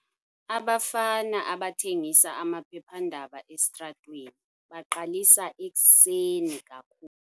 Abafana abathengisa amaphephandaba esitratweni baqalisa ekuseni kakhulu.